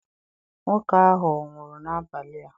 Nwoke ahụ ọ̀ nwụrụ n'abalị a?